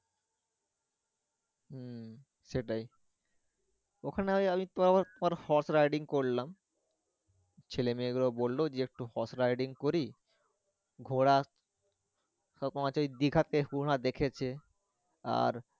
হু সেটাই ওখানে ওই আমি পরে horse riding করলাম ছেলেমেয়ে গুলো বললো একটু horse riding করি ঘোড়া দেখেছে আর